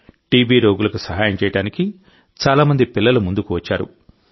TB రోగులకు సహాయం చేయడానికి చాలా మంది పిల్లలు ముందుకు వచ్చారు